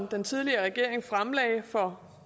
den tidligere regering fremlagde for